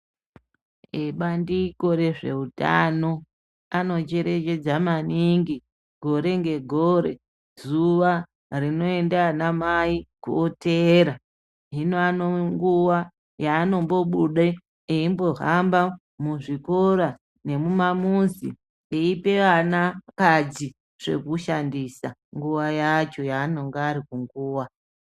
Ebandiko rezveutano, anocherechedza maningi gore ngegore, zuwa rinoenda anamai koteera. Hino anoo nguwa yaanombobude, eimbohamba muzvikora nemumamuzi, eipe anakadzi zvekushandisa ,nguwa yacho yaanonga ari kunguwa.